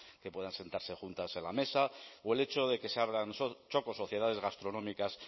que puedan sentarse juntas en la mesa o el hecho de que se abran txokos sociedades gastronómicas